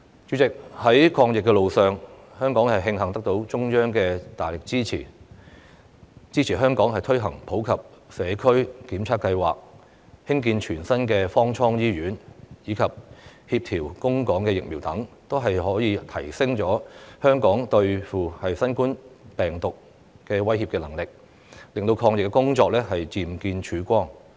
主席，在抗疫路上，香港慶幸得到中央的大力支持，支援香港推行普及社區檢測計劃、興建全新的方艙醫院，以及協調供港疫苗等，這些均可提升香港應對新冠病毒威脅的能力，令抗疫工作漸見曙光。